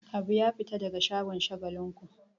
Habu ya fita daga shagon Shagalinku.